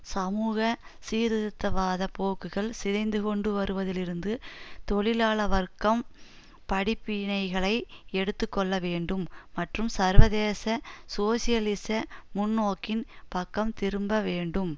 சமூக சீர்திருத்தவாத போக்குகள் சிதைந்துகொண்டு வருவதிலிருந்து தொழிலாள வர்க்கம் படிப்பினைகளை எடுத்து கொள்ள வேண்டும் மற்றும் சர்வதேச சோசியலிச முன்நோக்கின் பக்கம் திரும்ப வேண்டும்